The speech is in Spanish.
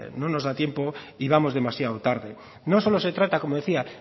no nos da tiempo y vamos demasiado tarde no solo se trata como decía